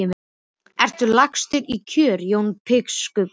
Ertu lagstur í kör Jón biskup Arason?